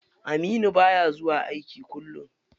Aminu baya zuwa aiki kullum.